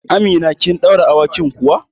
Amina, kin ɗaure awakin kuwa?